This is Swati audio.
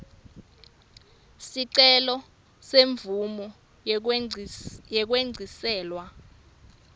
sicelo semvumo yekwengciselwa